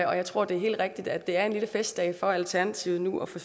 jeg tror det er helt rigtigt at det er en lille festdag for alternativet nu at få